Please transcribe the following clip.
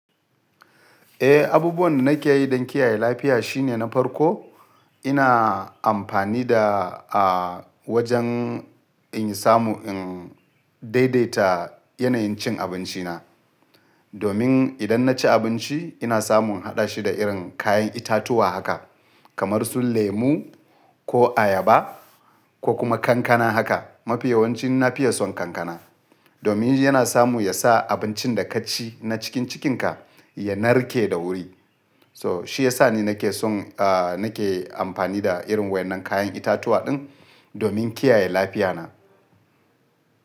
Eh, abubuwan da nake yi don kiyaye lafiya shine na farko ina amfani da a wajen in samu in daidaita yanayin cin abinci na. Domin idan na ci abinci ina samun haɗa shi da irin kayan itatuwa haka kamar su lemu ko ayaba ko kuma kankana haka. Mafi yawanci na fi iya son kankana. Domin yana samu yasa abincin da ka ci na cikin cikinka ya narke da wuri. So shi yasa ni nake son a nake amfani da irin waɗannan kayan itatuwa din domin kiyaye lafiya na.